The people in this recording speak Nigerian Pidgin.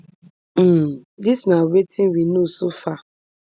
um dis na wetin we know so far